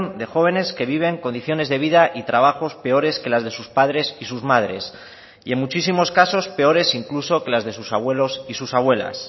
de jóvenes que viven condiciones de vida y trabajos peores que las de sus padres y sus madres y en muchísimos casos peores incluso que las de sus abuelos y sus abuelas